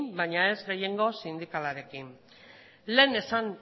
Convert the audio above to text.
baina ez gehiengo sindikalarekin lehen esan